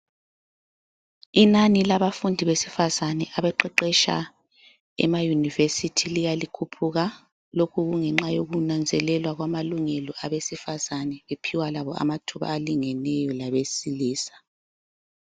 Inani labafundi besifazana abeqeqetsha ema yunivesithi liya likhuphuka lokhu kungenxa yokunanzelelwa kwamalungelo abesifazana bephiwa labo amathuba alingeneyo labesilisa.